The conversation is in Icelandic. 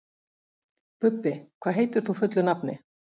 Bubbi, hvað heitir þú fullu nafni?